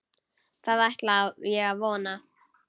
Það ætla ég að vona.